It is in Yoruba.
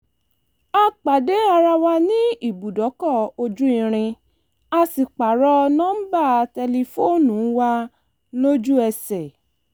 a pàdé ara wa ní ibùdókọ̀ ojú irin a sì pààrọ̀ nọ́ńbà tẹlifóònù wa lójú ẹsẹ̀